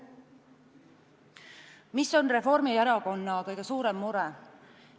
Mis on Reformierakonna kõige suurem mure?